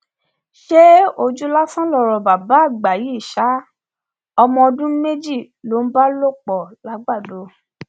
ṣé ojú lásán lọrọ bàbá àgbà yìí ṣa ọmọ ọdún méjì ló bá lò pọ làgbàdo